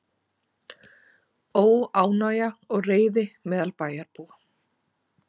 Óánægja og reiði meðal bæjarbúa